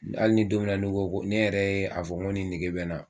Hali ni don mina n'i n ko ko ne yɛrɛ ye a fɔ ko ni nege bɛ n na.